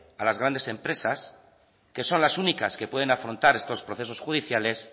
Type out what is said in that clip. a las grandes empresas que son las únicas que pueden afrontar estos procesos judiciales